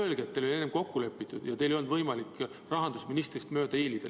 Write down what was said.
Öelge, et teil oli enne kokku lepitud ja teil ei olnud lihtsalt võimalik rahandusministrist mööda hiilida.